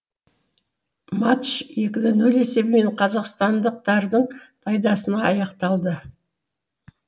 матч екі нөл нөл есебімен қазақстандықтардың пайдасына аяқталды